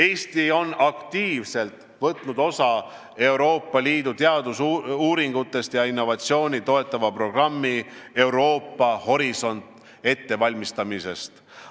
Eesti on aktiivselt võtnud osa Euroopa Liidu teadusuuringuid ja innovatsiooni toetava programmi "Euroopa horisont" ettevalmistamisest.